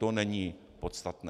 To není podstatné.